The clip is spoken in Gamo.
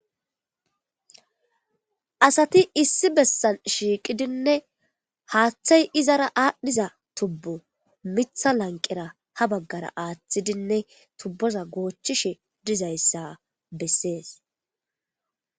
Asati issi bessan shiiqidinne haaththay izara aadhdhiza tubbu mitha lanqera habaggara aaththidinne tubboza goochchishe dizayssa bessees.